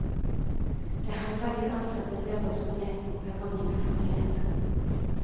Det hender de ansatte ber oss gå ned på perrongene for å lete.